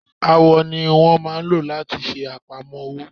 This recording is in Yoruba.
Awọ ni wọ́n lmáa ò láti ṣe àpamọ́ ọwọ́.